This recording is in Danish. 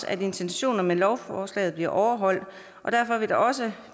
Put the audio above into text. at intentionerne med lovforslaget bliver overholdt og derfor vil der også